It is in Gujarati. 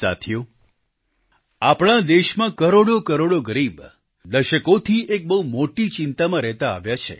સાથીઓ આપણા દેશમાં કરોડોકરોડ ગરીબ દશકોથી એક બહુ મોટી ચિંતામાં રહેતા આવ્યા છે